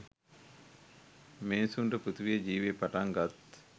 මිනිසුන්ට පෘථීවියේ ජීවය පටන් ගත්